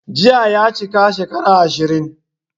Jiya ya chika shekara 20